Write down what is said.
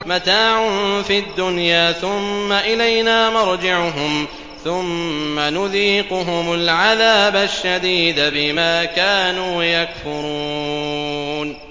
مَتَاعٌ فِي الدُّنْيَا ثُمَّ إِلَيْنَا مَرْجِعُهُمْ ثُمَّ نُذِيقُهُمُ الْعَذَابَ الشَّدِيدَ بِمَا كَانُوا يَكْفُرُونَ